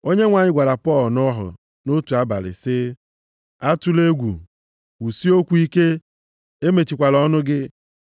Onyenwe anyị gwara Pọl nʼọhụ nʼotu abalị sị, “Atụla egwu, kwusie okwu ike, emechikwala ọnụ gị.